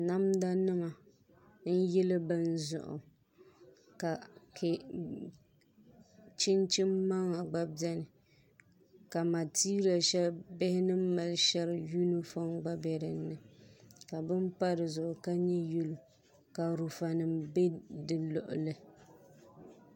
Namda nim n yili bini zuɣu ka chinchin maŋa gba biɛni ka matiya shɛli bihi ni mali shɛri yunifom gba bɛ dinni ka bini pa dizuɣu ka nyɛ yɛlo ka lunfa nim bɛ di luɣuli